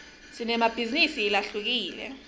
sinemabhizinisi lahlukile